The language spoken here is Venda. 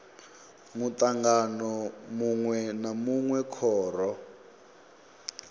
mutangano munwe na munwe khoro